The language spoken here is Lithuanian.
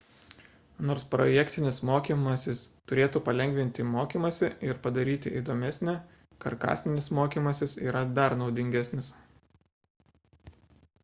nors projektinis mokymasis turėtų palengvinti mokymąsi ir padaryti įdomesnį karkasinis mokymasis yra dar naudingesnis